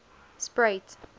spruit